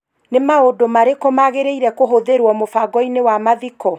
Nĩ maũndũ marĩkũ magĩrĩĩre kuhũthĩrũo mũbango-inĩ wa mathiko